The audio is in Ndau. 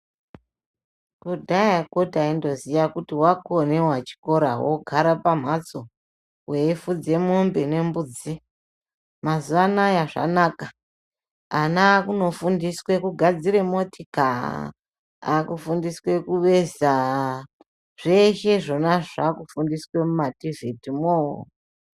Kudhayakwo taindoziya kuti wakonewa chikora wogara pamhatso, weifudze mombe nembudzi , mazuwa anaya zvanaka ana akunofundiswa kugadzira motika akufundiswe kuveza zveshe zvona zvakufundiswe mumativhitimoo .